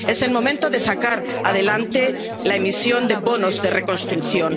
de recursos propios. Es el momento de sacar adelante la emisión de bonos